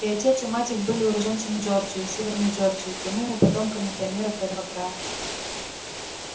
и отец и мать их были уроженцами джорджии северной джорджии прямыми потомками пионеров этого края